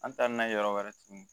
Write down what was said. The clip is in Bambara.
An taa n'a ye yɔrɔ wɛrɛ tugun